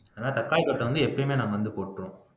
அதனால தக்காளி கொட்டை வந்து எப்பயுமே நம்ம வந்து போட்டிருவோம்